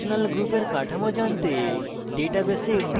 functional গ্রুপের কাঠামো জানতে